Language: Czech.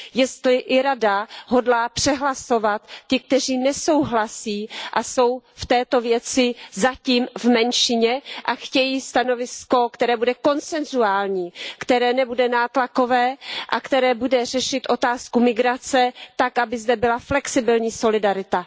Jestli i Rada hodlá přehlasovat ty, kteří nesouhlasí a jsou v této věci zatím v menšině a chtějí stanovisko, které bude konsensuální, které nebude nátlakové a které bude řešit otázku migrace tak, aby zde byla flexibilní solidarita.